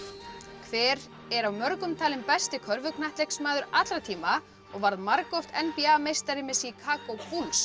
hver er af mörgum talinn besti körfuknattleiksmaður allra tíma og varð margoft n b a meistari með Chicago